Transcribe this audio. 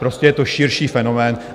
Prostě je to širší fenomén.